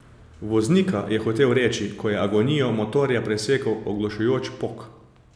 Voznika, je hotel reči, ko je agonijo motorja presekal oglušujoč pok.